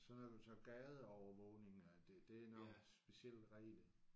Så er der så gadeovervågninger der der er nogle specielle regler